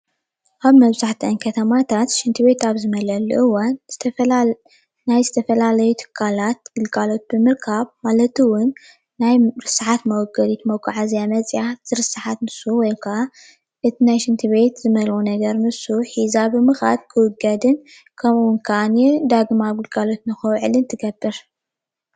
ኣብ መብዛሕቲኤን ከተማታት ሽንቲ ቤት ኣብ ዝመልአሉ እዋን ዝተፈላለየ ናይዝተፈላለየ ትካላት ግልጋሎት ብምርካብ ማለት እውን ናይ ርስሓት መወገዲት መፅእያ ትርስሓት ንሱ ውይ ከዓ እቱይ ናይ ሽንቲ ቤት እመልኣ ነገር ንሱ ሕዛ ብምካድ ክውገድን ከምኡ ከዓኒ ዳግም ኣብ ግልጋሎት ክውዕል ትገብር።